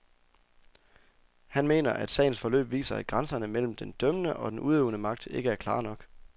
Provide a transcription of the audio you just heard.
Han mener, at sagens forløb viser, at grænserne mellem den dømmende og den udøvende magt ikke er klare nok.